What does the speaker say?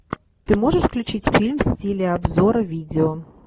ты можешь включить фильм в стиле обзора видео